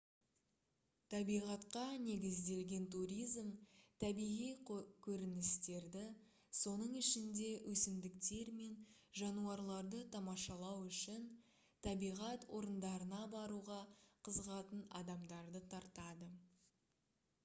табиғатқа негізделген туризм табиғи көріністерді соның ішінде өсімдіктер мен жануарларды тамашалау үшін табиғат орындарына баруға қызығатын адамдарды тартады